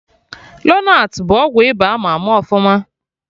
Lonart bụ ọgwụ ịba ama ama ọfụma